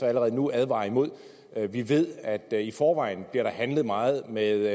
allerede nu advare imod vi ved at der i forvejen bliver handlet meget med